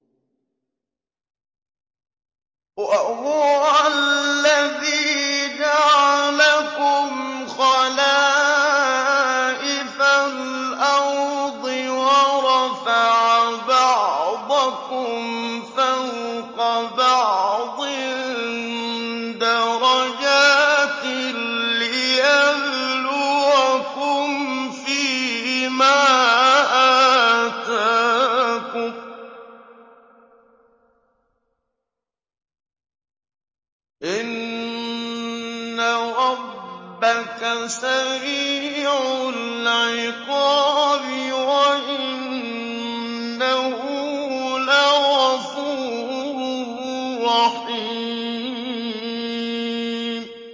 وَهُوَ الَّذِي جَعَلَكُمْ خَلَائِفَ الْأَرْضِ وَرَفَعَ بَعْضَكُمْ فَوْقَ بَعْضٍ دَرَجَاتٍ لِّيَبْلُوَكُمْ فِي مَا آتَاكُمْ ۗ إِنَّ رَبَّكَ سَرِيعُ الْعِقَابِ وَإِنَّهُ لَغَفُورٌ رَّحِيمٌ